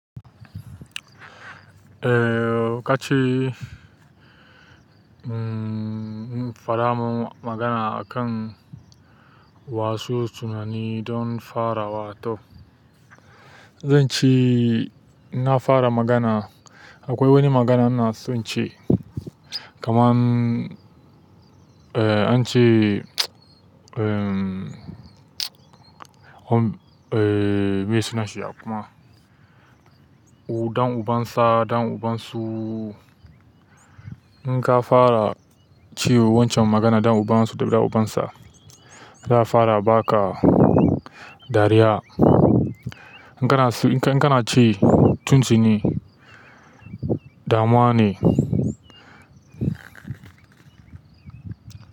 Eh, ka ce faramun magana akan wasu tunani don fara wato. Zance na fara magana, akwai wani magana inaso ince kaman, an ce, ko me suna shi ya kuma. Ɗan uban sa, ɗan uban su. In ka fara cewa wancan magana ɗan uban su da ɗan uban sa, da fara baka dariya. In kana su, in kana ce tunti ne, dama ne.